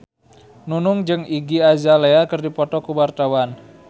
Nunung jeung Iggy Azalea keur dipoto ku wartawan